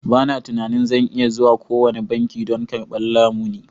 Ba na tunanin zan iya zuwa kowane banki don karɓan lamuni.